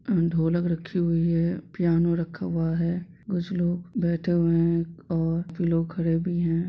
ढोलक रखी रखी हुई है पियानो रखा हुआ है कुछ लोग बैठे हुए है और भी लोग खड़े भी है।